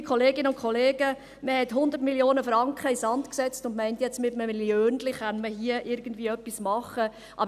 Liebe Kolleginnen und Kollegen, man hat 100 Mio. Franken in den Sand gesetzt und meint jetzt, dass man mit einem «Milliönchen» etwas machen kann!